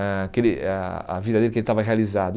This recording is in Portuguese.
ah que ele ah a vida dele que ele estava realizado.